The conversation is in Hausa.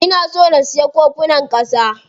Ina son na siya kofunan ƙasa.